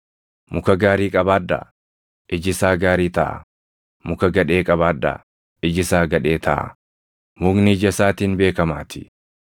“Muka gaarii qabaadhaa; iji isaa gaarii taʼaa; muka gadhee qabaadhaa; iji isaa gadhee taʼaa; mukni ija isaatiin beekamaatii.